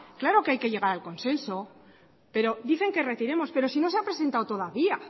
claro que hay que llegar al consenso pero dicen que retiremos pero ni no se ha presentado todavía